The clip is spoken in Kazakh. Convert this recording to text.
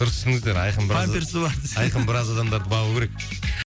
дұрыс түсініңіздер айқын памперсі бар айқын біраз адамдарды бағу керек